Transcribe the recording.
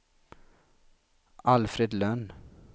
Alfred Lönn